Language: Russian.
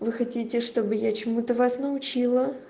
вы хотите чтобы я чему-то вас научила